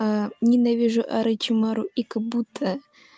ненавижу орочимару и кабуто